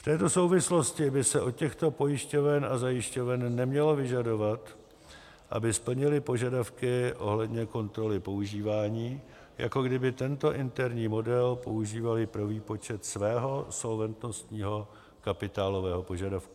V této souvislosti by se od těchto pojišťoven a zajišťoven nemělo vyžadovat, aby splnily požadavky ohledně kontroly používání, jako kdyby tento interní model používaly pro výpočet svého solventnostního kapitálového požadavku.